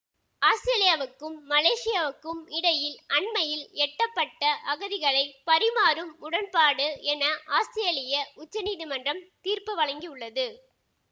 ஆஸ்திரேலியாவுக்கும் மலேசியாவுக்கும் இடையில் அண்மையில் எட்டப்பட்ட அகதிகளை பரிமாறும் உடன்பாடு என ஆஸ்திரேலிய உச்சநீதிமன்றம் தீர்ப்பு வழங்கியுள்ளது